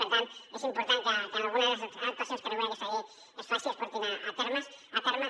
per tant és important que en algunes actuacions que regula aquesta llei es faci es porti a terme